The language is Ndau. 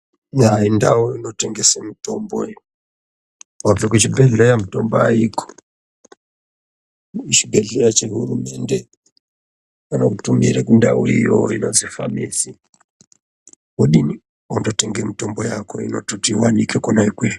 Yaa ndau inotengesa mitombo iyo, wabva kuchibhedhleya mitombo aiko, kuchibhedhleya che hurumende pane mitombo iri kundau iyoyo inozi famisi wodini wototenga mitombo yako inototi iwanike kwona ikweyo.